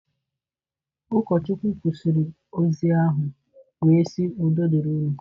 Ụkọchukwu kwụsịrị ozi ahụ wee sị udo dịrị unu.